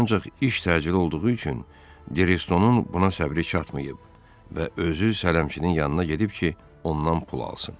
Ancaq iş təcili olduğu üçün Desto-nun buna səbri çatmayıb və özü sələmçinin yanına gedib ki, ondan pul alsın.